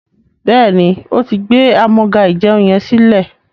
béèni,o tí gbé Amúga-ìjẹun yén silẹ.